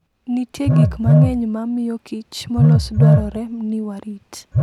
Nitie gik mang'eny ma miyokich molos dwarore ni warit.